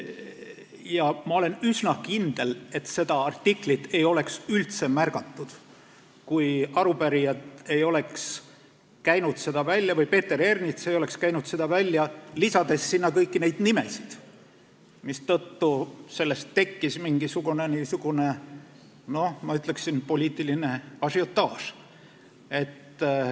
Ja ma olen üsna kindel, et seda artiklit ei oleks üldse märgatud, kui Peeter Ernits või teised arupärijad ei oleks seda välja käinud, lisades sinna kõiki neid nimesid, mistõttu sellest tekkis mingisugune, ma ütleksin, poliitiline ažiotaaž.